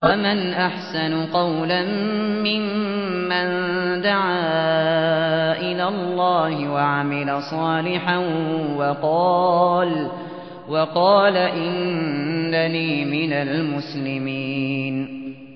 وَمَنْ أَحْسَنُ قَوْلًا مِّمَّن دَعَا إِلَى اللَّهِ وَعَمِلَ صَالِحًا وَقَالَ إِنَّنِي مِنَ الْمُسْلِمِينَ